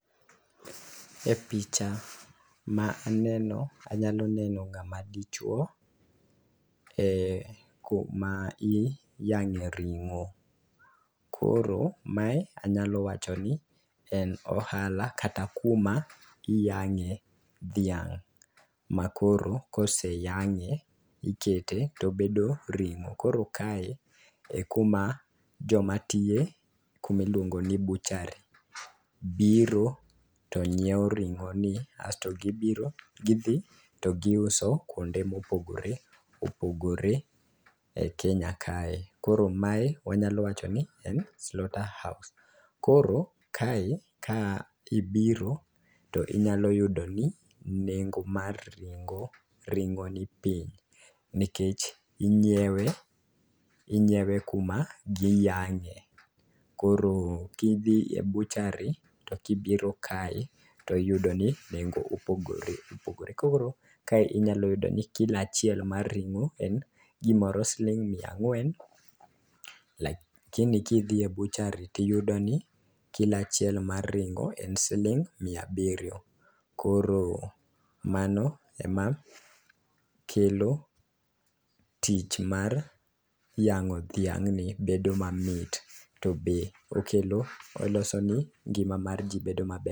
E picha ma aneno anyalo neno ng'ama dichuo e kuma iyang'e ring'o. Koro mae anyalo wacho ni en ohala kata kuma iyang'e dhiang' ,ma koro koseyang'e ikete tobedo ring'o. Koro kae e kuma joma tiye kumilongo ni buchari biro to nyiewo ring'o ni asto gibiro gidhi to giuso kuonde mopogore opogore e kenya kae. Koro mae anyalo wacho ni en slaughter house .Koro kae kibiro to inyalo yudo ni nengo mar ring'o ni piny nikech inyiewe inyiewe kuma giyang'e koro kidhi ebuchari to kibiro kae iyudo ni nengo opogore opogore koro kae inyalo yudo ni kilo achiel en gimor siling mia ang'wen lakini kodhi e buchari tiyudo ni kilo achiel mar ring'o en siling mia abiriyo. Koro mano ema kelo tich mar yang'o dhiang' ni bedo mamit to be okelo oloso ne ngima mar jii bedo maber.